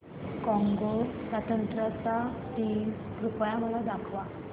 Congo स्वतंत्रता दिन कृपया मला दाखवा